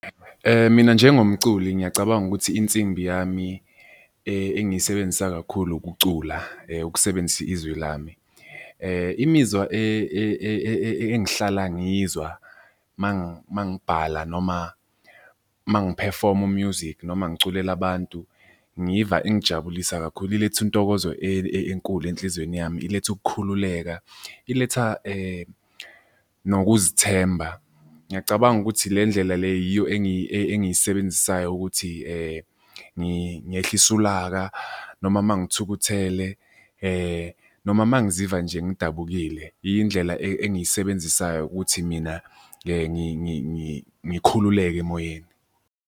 Mina njengomculi ngiyacabanga ukuthi insimbi yami engiyisebenzisa kakhulu ukucula, ukusebenzisa izwi lami. Imizwa engihlala ngiyizwa uma ngibhala noma uma ngiphefoma u-music, noma ngiculela abantu, ngiva ingijabulisa kakhulu ilethe intokozo enkulu enhlizweni yami, iletha ukukhululeka, iletha nokuzithemba. Ngiyacabanga ukuthi le ndlela le yiyo engisebenzisayo ukuthi ngehlise ulaka noma uma ngithukuthele noma uma ngiziva nje ngidabukile. Indlela engisebenzisayo ukuthi mina ngikhululeke emoyeni.